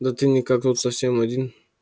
да ты никак тут совсем один